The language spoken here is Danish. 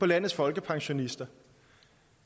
landets folkepensionister